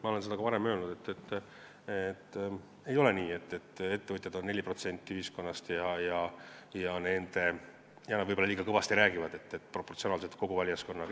Ma olen ka varem öelnud, et ei ole nii, et ettevõtjad on 4% ühiskonnast ja nad võib-olla liiga kõvasti räägivad, kui vaadata kogu valijaskonna proportsioone.